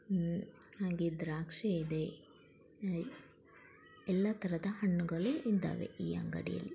ಇದು ದ್ರಾಕ್ಷಿ ಇದೇ ಲೈಕ್ ಎಲ್ಲ ತರಹದ ಹಣ್ಣುಗಳು ಇದ್ದಾವೆ ಈ ಅಂಗಡಿಯಲ್ಲಿ.